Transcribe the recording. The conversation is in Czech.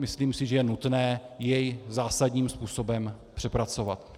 Myslím si, že je nutné jej zásadním způsobem přepracovat.